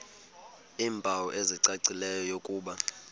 iimpawu ezicacileyo zokuba